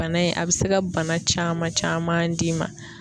Bana in a be se ka bana caman caman d'i ma